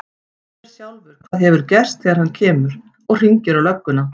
Hann sér sjálfur hvað hefur gerst þegar hann kemur. og hringir á lögguna.